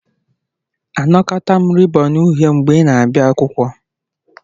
Anakọta m rịbọn uhie mgbe ị na-abịa akwụkwọ.